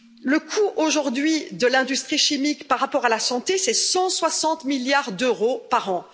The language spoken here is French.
Le coût, aujourd'hui, de l'industrie chimique par rapport à la santé, c'est 160 milliards d'euros par an.